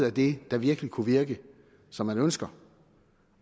af det der virkelig kunne virke som man ønsker